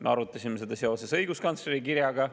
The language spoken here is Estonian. Me arutasime seda seoses õiguskantsleri kirjaga.